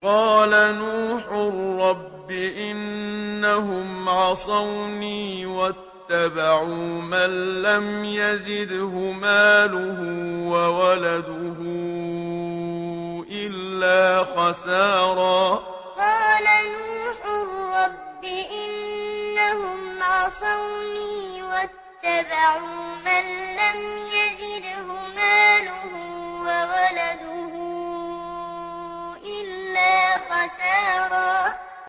قَالَ نُوحٌ رَّبِّ إِنَّهُمْ عَصَوْنِي وَاتَّبَعُوا مَن لَّمْ يَزِدْهُ مَالُهُ وَوَلَدُهُ إِلَّا خَسَارًا قَالَ نُوحٌ رَّبِّ إِنَّهُمْ عَصَوْنِي وَاتَّبَعُوا مَن لَّمْ يَزِدْهُ مَالُهُ وَوَلَدُهُ إِلَّا خَسَارًا